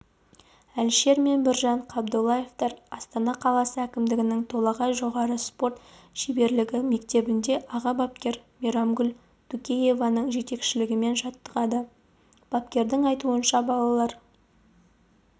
әлішер мен біржан қабдоллаевтар астана қаласы әкімдігінің толағай жоғары спорт шеберлігі мектебінде аға бапкер мейрамгүл дукуеваның жетекшілігімен жаттығады бапкердің айтуынша балалар